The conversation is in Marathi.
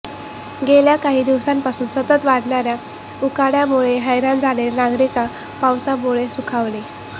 गेल्या काही दिवसांपासून सतत वाढणाऱ्या उकाड्यामुळे हैराण झालेले नागरिक पावसामुळे सुखावले